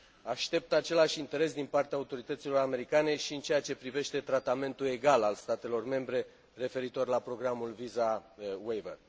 Aștept același interes din partea autorităților americane și în ceea ce privește tratamentul egal al statelor membre referitor la programul Visa Waver.